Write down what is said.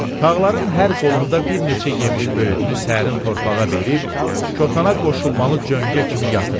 Tağların hər qolunda bir neçə yemiş böyürüünü səhərin torpağa verib kotana qoşulmalı cöngə kimi yatırdı.